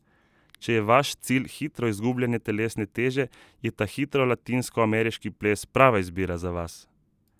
Če je vaš cilj hitro izgubljanje telesne teže, je ta hitri latinskoameriški ples prava izbira za vas!